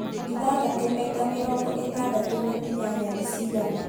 Ithathatũ maita mĩrongo ĩtandatũ na inyanya ni cigana